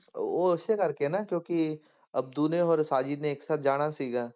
ਉਹ ਉਸੇ ਕਰਕੇ ਆ ਨਾ ਕਿਉਂਕਿ ਅਬਦੂ ਨੇ ਔਰ ਸਾਜਿਦ ਨੇ ਇੱਕ ਸਾਥ ਜਾਣਾ ਸੀਗਾ।